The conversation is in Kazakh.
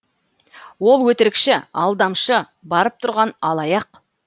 ол өтірікші алдамшы барып тұрған алаяқ